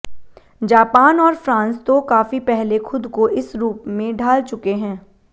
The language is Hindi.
जापान और फ्रांस तो काफी पहले खुद को इस रूप में ढाल चुके हैं